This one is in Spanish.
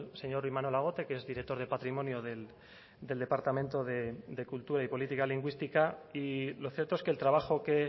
señor imanol agote que es director de patrimonio del departamento de cultura y política lingüística y lo cierto es que el trabajo que